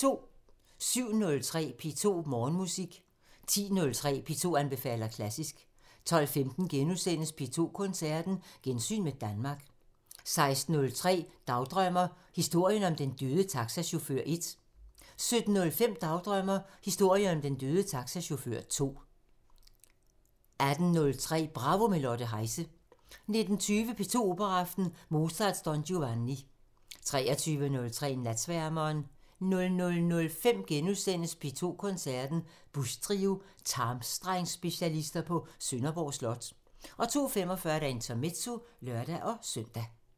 07:03: P2 Morgenmusik 10:03: P2 anbefaler klassisk 12:15: P2 Koncerten – Gensyn med Danmark * 16:03: Dagdrømmer: Historien om den døde taxachauffør 1 17:05: Dagdrømmer: Historien om den døde taxachauffør 2 18:03: Bravo – med Lotte Heise 19:20: P2 Operaaften – Mozart: Don Giovanni 23:03: Natsværmeren 00:05: P2 Koncerten – Busch Trio – tarmstrengsspecialister på Sønderborg Slot * 02:45: Intermezzo (lør-søn)